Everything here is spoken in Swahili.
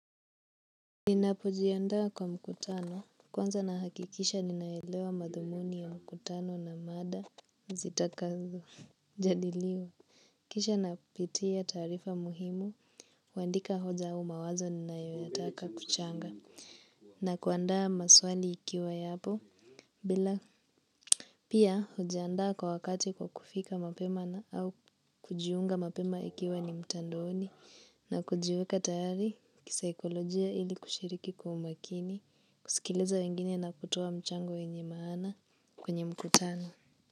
Ninapojiandaa kwa mkutano kwanza nahakikisha ninaelewa madhumuni ya mkutano na mada zitakazojadiliwa. Kisha napitia taarifa muhimu, kuandika hoja au mawazo ninayoitaka kuchanga na kuandaa maswali ikiwa yapo bila pia hujiandaa kwa wakati kwa kufika mapema au kujiunga mapema ikiwa ni mtandaoni na kujiweka tayari kisaikolojia ili kushiriki kwa umakini, kusikiliza wengine na kutoa mchango wenye maana kwenye mkutano.